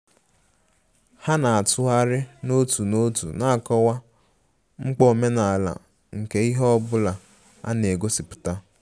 Ha na-atụgharị n'otu n'otu na-akọwa mkpa omenala nke ihe ọ bụla a na-egosipụta